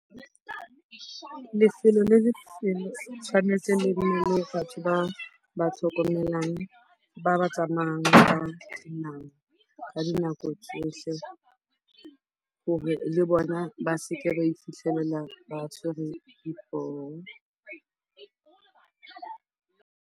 Lefelo le le tshwanetseng le be le batho ba ba tlhokomelang ba ba tsamayang ba clean-ang ka dinako tsohle hore le bona ba seke ba ifitlhelela ba tshwere dipoo.